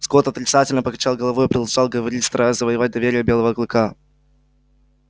скотт отрицательно покачал головой и продолжал говорить стараясь завоевать доверие белого клыка